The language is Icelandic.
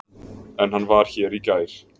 En hann var hér í gær.